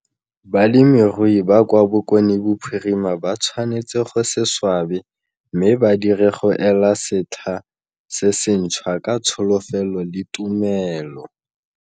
Balemirui ba kwa Bokonebophirima ba tshwanetse go se swabe mme ba dire go ela setlha se senthswa - ka tsholofelo le tumelo.